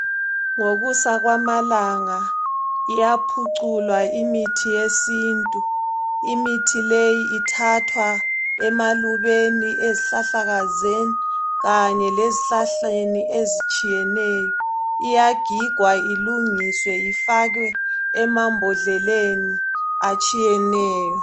Ngokusa kwamalanga iyaphuculwa imithi yesintu imithi leyi ithathwa emalubeni ezihlahlakazeni kanye lezihlahleni ezitshiyeneyo iyagigwa ilungiswe ifakwe emambodleni atshiyeneyo.